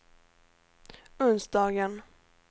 onsdagen